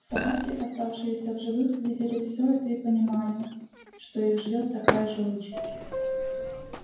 собаки оставшиеся в живых видели все это и понимали что их ждёт такая же участь